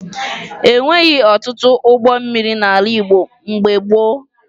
E nweghi ọtụtụ ụgbọ mmiri n'ala Igbo mgbe gboo